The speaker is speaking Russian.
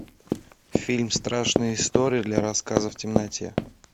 фильм страшные истории для рассказа в темноте